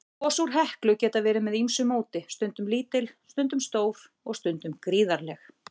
Gos úr Heklu geta verið með ýmsu móti, stundum lítil, stundum stór, og stundum gríðarleg.